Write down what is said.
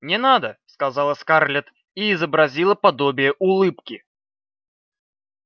не надо сказала скарлетт и изобразила подобие улыбки